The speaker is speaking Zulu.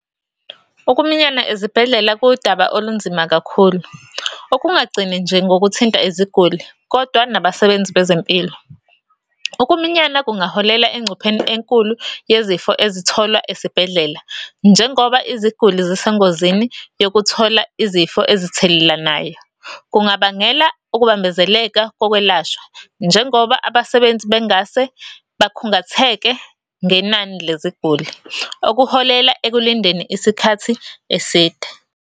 Ukuminyana ezibhedlela kuwudaba olunzima kakhulu, okungagcini nje ngokuthinta iziguli, kodwa nabasebenzi bezempilo. Ukuminyana kungaholela engcupheni enkulu yezifo ezitholwa esibhedlela, njengoba iziguli zisengozini yokuthola izifo ezithelelanayo. Kungabangela ukubambezeleka kokwelashwa, njengoba abasebenzi bengase bakhungatheke ngenani leziguli, okuholela ekulindeni isikhathi eside.